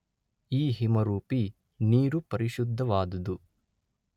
ಈ ಹಿಮರೂಪಿ ನೀರು ಪರಿಶುದ್ಧವಾದುದು.